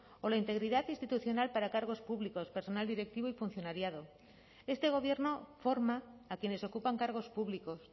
o la integridad institucional para cargos públicos personal directivo y funcionariado este gobierno forma a quienes ocupan cargos públicos